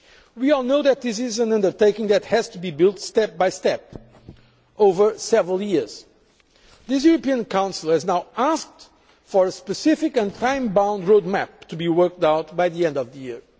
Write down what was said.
We all know that this is an undertaking that has to be built step by step over several years. This European Council has now asked for a specific and time bound road map to be worked out by the end of the